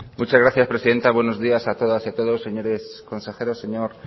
muchas gracias presidenta buenos días a todas y a todos señores consejeros señor